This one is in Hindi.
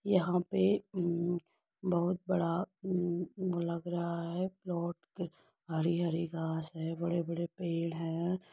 यहाँ पे उम बहुत बड़ा उम वो लग रहा है। प्लॉट हरी-हरी घास है। बड़े-बड़े पेड़ है।